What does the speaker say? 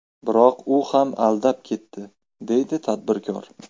Biroq u ham aldab ketdi, deydi tadbirkor.